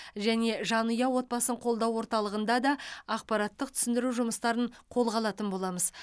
және жанұя отбасын қолдау орталығында да ақпараттық түсіндіру жұмыстарын қолға алатын боламыз